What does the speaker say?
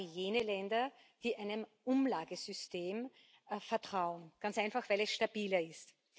Das sind gerade jene Länder, die einem Umlagesystem vertrauen ganz einfach, weil es stabiler ist.